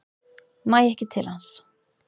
Næ ekki til hans.